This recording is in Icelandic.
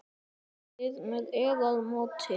Eruð þér með eða móti?